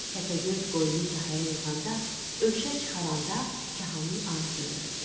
Təpəgöz qoyunu kahaya yığanda, örüşə çıxaranda kahanın ağzını örtdü.